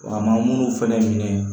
A ma munnu fɛnɛ minɛ